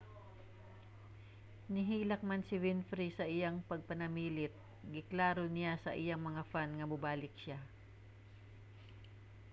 nihilak man si winfrey sa iyang pagpanamilit giklaro niya sa iyang mga fan nga mobalik siya